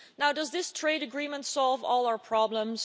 Does this trade agreement solve all our problems?